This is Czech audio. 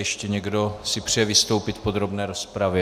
Ještě někdo si přeje vystoupit v podrobné rozpravě?